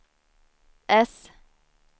äss